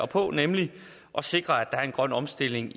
på nemlig at sikre at er en grøn omstilling